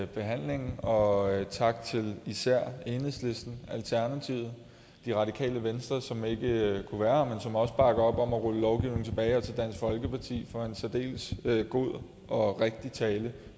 behandlingen og tak til især enhedslisten alternativet det radikale venstre som ikke kunne være her som også bakker op om at rulle lovgivningen tilbage og til dansk folkeparti for en særdeles god og rigtig tale